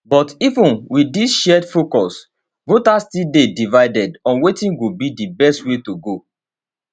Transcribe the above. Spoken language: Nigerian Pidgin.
but even wit dis shared focus voters still dey divided on wetin go be di best way to go